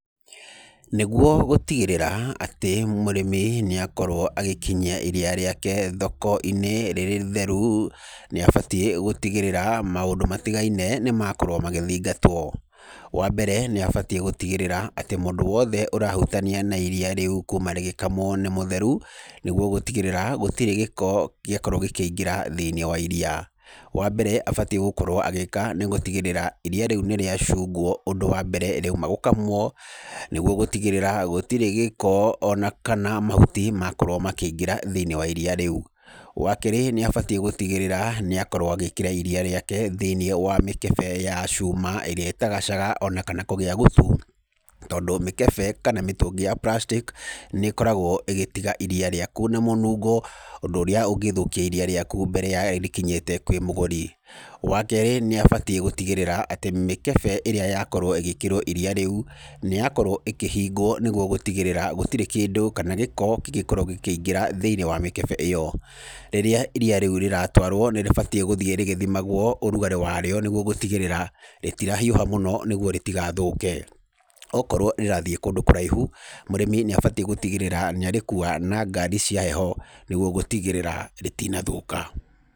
Nĩguo gũtigĩrĩra atĩ mũrĩmi nĩakorwo agĩkinyia iriia rĩake thokoinĩ rĩrĩ itheru nĩabatiĩ gũtigĩrĩra maũndũ matigaine nĩmakorwo magĩthingatwo. Wambere nĩabatiĩ gũtigĩrĩra mũndũ wothe ũrahutania na iriya rĩu kuma rĩgĩkamwo nĩ mũtheru nĩguo gũtigĩrĩra gũtirĩ gĩko gĩakorwo gĩkĩingĩra thĩinĩ wa iriia. Wambere abatiĩ gũkorwo agĩka nĩ gũtigĩrĩa nĩ atĩ iriia rĩu nĩriacungwo ũndũ wa mbere rĩauma gũkamwo, nĩguo gũtigĩrĩra gũtirĩ gĩko ona kana mahuti makorwo makĩingíĩra thĩinĩ wa iriia rĩu. Wakerĩ nĩabatiĩ gũtigĩrĩra nĩakorwo agĩkĩra iriia rĩake thĩinĩ wa mĩkebe ya cuma ĩrĩa ĩtagacaga ona kana kũgĩa gũtu tondũ mĩkebe kana mĩtũngi ya plastic nĩkoragwo ĩgĩtiga iriia rĩaku na mũnungo ũndũ ũrĩa ũngĩthũkia iriya rĩaku mbere ya rĩkinyĩte kwĩ mũgũri. Wakerĩ nĩabatiĩ gũtigĩrĩra atĩ mĩkebe ĩrĩa yakorwo ĩgĩkĩrwo iriia rĩu nĩyakorwo ĩkĩhingwo nĩguo gũtigĩrĩra gũtirĩ kĩndũ kana gĩko kĩngĩkorwo gĩkĩingĩra thĩinĩ wa mĩkebe ĩyo. Rĩrĩa iriia rĩu rĩratwarwo nĩrĩbatie gũthiĩ rĩgĩthimagwo ũrugarĩ warĩo nĩguo gũtigĩrĩra rĩtirahiũha mũno nĩguo rĩtigathũke. Okorwo rĩrathiĩ kũndũ kũraihu mũrĩmi nĩabatiĩ gũtigĩrĩra nĩarĩkua na ngari cia heho nĩguo gũtigĩrĩra rĩtinathũka.